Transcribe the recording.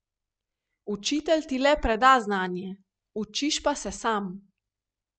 Učitelj ti le preda znanje, učiš pa se sam.